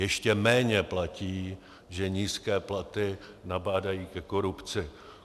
Ještě méně platí, že nízké platy nabádají ke korupci.